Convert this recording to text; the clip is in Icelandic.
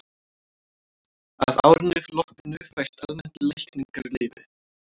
að árinu loknu fæst almennt lækningaleyfi